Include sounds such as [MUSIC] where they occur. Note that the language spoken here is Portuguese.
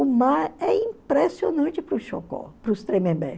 O mar é impressionante para os [UNINTELLIGIBLE] para os Tremembé.